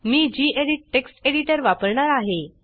मी गेडीत text editor वापरणार आहे